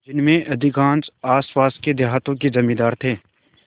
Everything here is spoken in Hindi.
जिनमें अधिकांश आसपास के देहातों के जमींदार थे